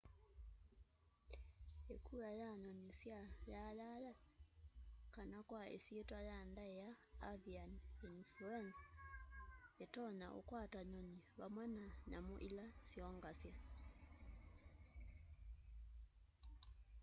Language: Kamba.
ikua ya nyunyi sya yayaya kana kwa isyitwa ya ndaia avian influenza itonya ukwata nyunyi vamwe na nyamu ila syongasya